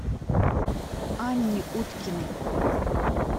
анне уткиной